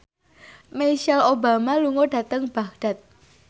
Michelle Obama lunga dhateng Baghdad